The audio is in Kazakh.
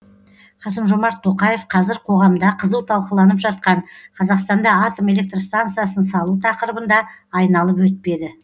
қасым жомарт тоқаев қазір қоғамда қызу талқыланып жатқан қазақстанда атом электр станциясын салу тақырыбын да айналып өтпеді